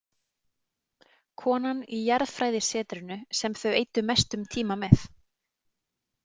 Konan í jarðfræðisetrinu sem þau eyddu mestum tíma með.